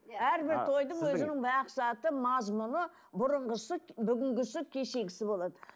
әрбір тойдың өзінің мақсаты мазмұны бұрынғысы бүгінгісі кешегісі болады